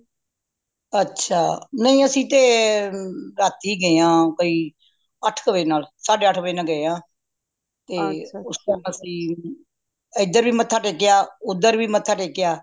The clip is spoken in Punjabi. ਅੱਛਾ ਨਹੀਂ ਅੱਸੀ ਤੇ ਰਾਤੀ ਗਏਆਂ ਬਇ ਅੱਠ ਕ ਵਜੇ ਨਾਲ ਸਾਡੇ ਆਠ ਵਜੇ ਨਾਲ ਗਏ ਆ ਤੇ ਉਸ time ਅੱਸੀ ਇੱਧਰ ਵੀ ਮੱਥਾ ਟੇਕਿਆ ਓਦਰ ਵੀ ਮੱਥਾ ਟੇਕਿਆ